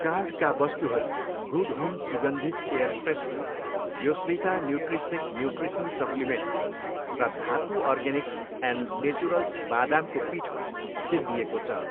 कार्टका वस्तुहरू good home सुगन्धित air freshener, योस्विता न्युट्रिसेक न्युट्रिसन सप्लिमेन्ट र धातु अर्गेनिक्स एन्ड नेचुरल्स बादामको पिठो सिद्धिएको छ।